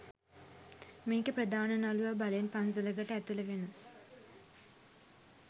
මේකෙ ප්‍රධාන නළුව බලෙන් පන්සලකට ඇතුළු වෙන